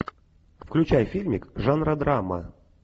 включай фильмик жанра драма